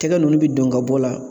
Tɛgɛ ninnu bi don ka bɔ la